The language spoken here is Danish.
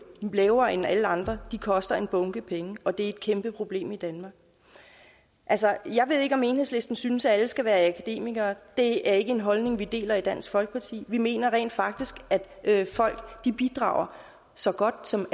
lavere end alle andres koster en bunke penge og at det er et kæmpe problem i danmark altså jeg ved ikke om enhedslisten synes at alle skal være akademikere det er ikke en holdning vi deler i dansk folkeparti vi mener rent faktisk at folk bidrager så godt som